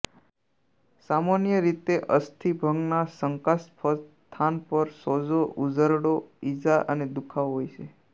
સામાન્ય રીતે અસ્થિભંગના શંકાસ્પદ સ્થાન પર સોજો ઉઝરડો ઇજા અને દુખાવો હોય છે